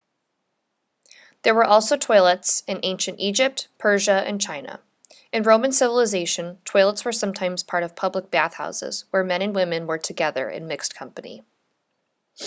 there were also toilets in ancient egypt persia and china in roman civilization toilets were sometimes part of public bath houses where men and women were together in mixed company